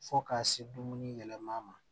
Fo ka se dumuni yɛlɛma ma